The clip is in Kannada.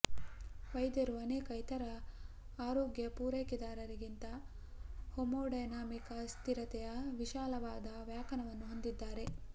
ವೈದ್ಯರು ಅನೇಕ ಇತರ ಆರೋಗ್ಯ ಪೂರೈಕೆದಾರರಿಗಿಂತ ಹೆಮೋಡೈನಮಿಕ್ ಅಸ್ಥಿರತೆಯ ವಿಶಾಲವಾದ ವ್ಯಾಖ್ಯಾನವನ್ನು ಹೊಂದಿದ್ದಾರೆ